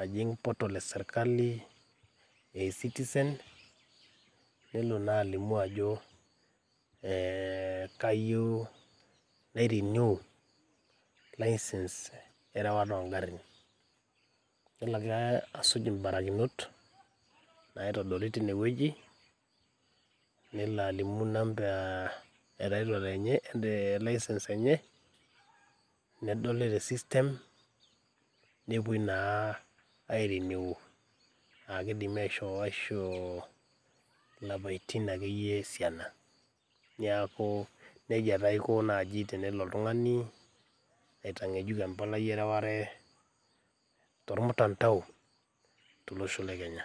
ajing portal esirkali e e citizen nelo naa alimu ajo eh kayieu nae renew license erewata ongarrin yilo egira asuj imbarakinot naitodoli tine wueji nelo alimu inamba e title enye e license enye nedoli te system nepuoi naa e renew akidimi aisho aishoo ilapaitin akeyie esiana niaku nejia taa aiko naaji tenelo oltung'ani aitang'ejuk empalai ereware tormtandao tolosho le kenya.